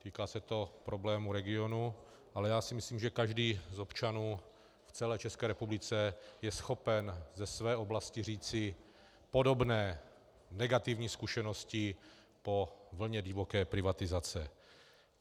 Týká se to problémů regionu, ale já si myslím, že každý z občanů v celé České republice je schopen ze své oblasti říci podobné negativní zkušenosti po vlně divoké privatizace.